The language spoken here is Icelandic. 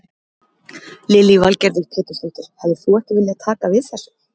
Lillý Valgerður Pétursdóttir: Hefðir þú ekki viljað taka við þessu?